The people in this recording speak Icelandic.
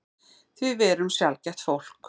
Því við erum sjaldgæft fólk.